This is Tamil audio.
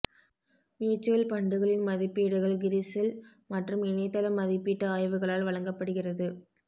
மியூட்சுவல் ஃபண்டுகளின் மதிப்பீடுகள் கிரிசில் மற்றும் இணையதள மதிப்பீட்டு ஆய்வுகளால் வழங்கப்படுகிறது